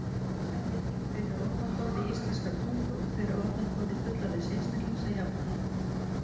Sjá einnig: Hver er orðaforði íslenskrar tungu og hver er orðaforði fullorðins einstaklings að jafnaði?